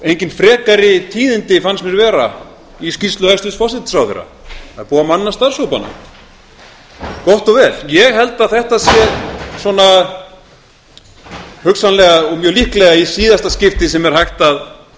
engin frekari tíðindi fannst mér vera í skýrslu hæstvirts forsætisráðherra það er búið að manna starfs hópana gott og vel ég held að þetta sé svona hugsanlega og mjög líklega í síðasta skipti sem er hægt að